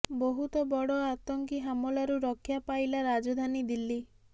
ବହୁତ ବଡ଼ ଆତଙ୍କି ହାମଲାରୁ ରକ୍ଷା ପାଇଲା ରାଜଧାନୀ ଦିଲ୍ଲୀ